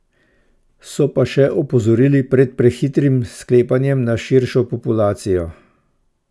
So pa še opozorili pred prehitrim sklepanjem na širšo populacijo.